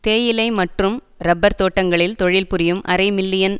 தேயிலை மற்றும் இறப்பர் தோட்டங்களில் தொழில்புரியும் அரை மில்லியன்